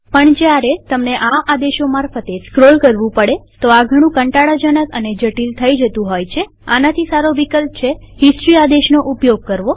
પણ જયારે તમને ઘણા આદેશો મારફતે સ્ક્રોલ કરવું પડે તો આ ઘણું કંટાળા જનક અને જટિલ થઇ જતું હોય છેઆનાથી સારો વિકલ્પ છે હિસ્ટરી આદેશનો ઉપયોગ કરવો